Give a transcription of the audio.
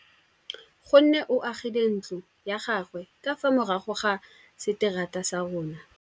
Nkgonne o agile ntlo ya gagwe ka fa morago ga seterata sa rona.